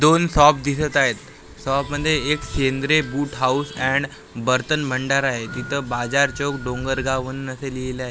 दोन सॉप दिसत आहेत सॉपमध्ये एक सेन्द्रे बूट हाऊस अँड बर्तन भंडार आहे तिथं बाजार चौक डोंगरगावन असं लिहिलंय तिथं च --